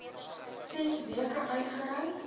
ses weke uitgereik